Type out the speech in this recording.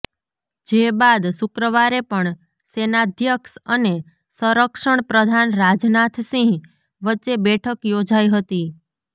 જે બાદ શુક્રવારે પણ સેનાધ્યક્ષ અને સંરક્ષણ પ્રધાન રાજનાથ સિંહ વચ્ચે બેઠક યોજાઈ હતી